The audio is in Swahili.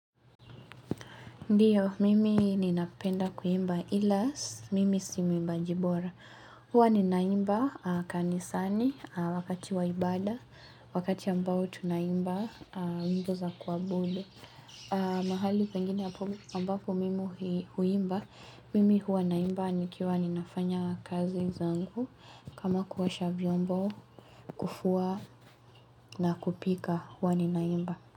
Ndiyo, mimi ninapenda kuimba ila si, mimi si mwimbaji bora. Huwa ninaimba kanisani wakati wa ibada, wakati ambao tunaimba wimbo za kuabudu. Mahali pengine ambapo mimi huimba, mimi hua naimba nikiwa ninafanya kazi zangu kama kuoasha vyombo kufua na kupika hua ninaimba.